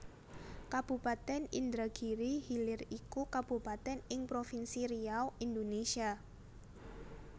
Kabupatèn Indragiri Hilir iku kabupatèn ing provinsi Riau Indonésia